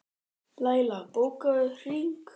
Læla, bókaðu hring í golf á mánudaginn.